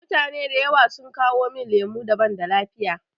Mutane da yawa sun kawo min lemu da banda lafiya.